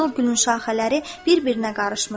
Qızıl gülün şaxələri bir-birinə qarışmışdı.